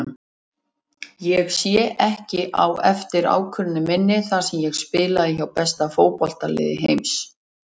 Ég sé ekki á eftir ákvörðun minni þar sem ég spilaði hjá besta fótboltaliði heims.